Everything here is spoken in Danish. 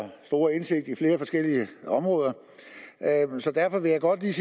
store indsigt i flere forskellige områder så derfor vil jeg godt lige